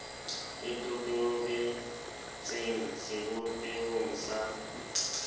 e totobe tseng sebopehong sa